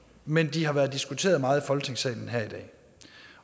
men de har været diskuteret meget i folketingssalen her i dag